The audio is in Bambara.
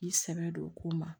I sɛbɛ don o ko ma